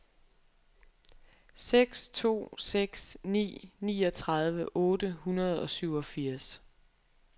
seks to seks ni niogtredive otte hundrede og syvogfirs